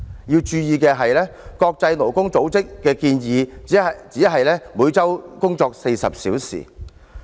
要注意的是，國際勞工組織的建議是每周工作40小時。